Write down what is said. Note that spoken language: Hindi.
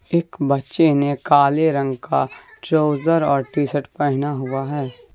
एक बच्चे ने काले रंग का ट्राउजर और टी शर्ट पहना हुआ है।